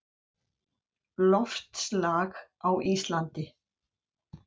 Loftslag á Íslandi